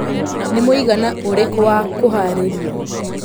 nĩ mũigana ũrĩkũ wa kuhararĩrĩa